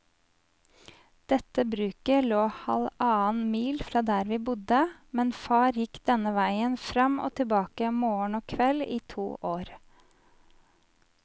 Dette bruket lå halvannen mil fra der vi bodde, men far gikk denne veien fram og tilbake morgen og kveld i to år.